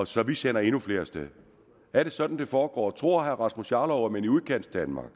så vi sender endnu flere af sted er det sådan det foregår tror herre rasmus jarlov at man i udkantsdanmark